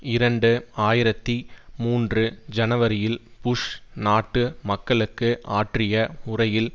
இரண்டு ஆயிரத்தி மூன்று ஜனவரியில் புஷ் நாட்டு மக்களுக்கு ஆற்றிய உரையில்